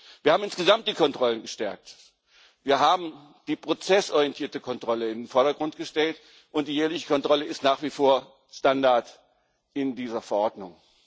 Wir haben insgesamt die Kontrollen gestärkt, wir haben die prozessorientierte Kontrolle in den Vordergrund gestellt, und die jährliche Kontrolle ist nach wie vor Standard in dieser Verordnung.